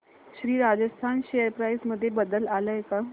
Shri Rajasthan share price मध्ये बदल आलाय का